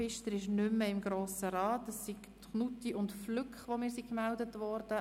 Als Vertreter sind mir die Grossräte Knutti und Flück gemeldet worden.